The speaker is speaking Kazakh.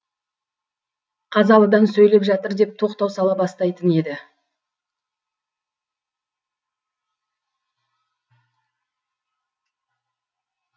қазалыдан сөйлеп жатыр деп тоқтау сала бастайтын еді